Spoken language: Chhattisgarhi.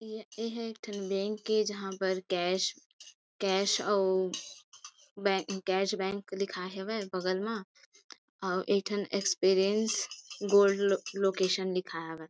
एहा एक ठन बैंक ए जहाँ पर कैश कैश अउ बै कैश बैंक लिखा हेवय बगल मा अउ एक ठन गोल्ड लो-लोकेशन लिखा हवय।